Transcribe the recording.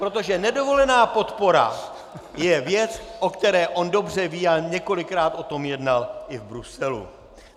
Protože nedovolená podpora je věc, o které on dobře ví, a několikrát o tom jednal i v Bruselu.